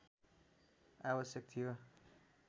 आवश्यक थियो